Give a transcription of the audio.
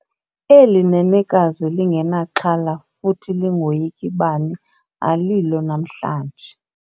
Eli nenekazi lingenaxhala futhi lingoyiki bani alilo namhlanje.